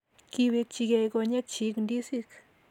Kiwekchikei konyekchi ndisik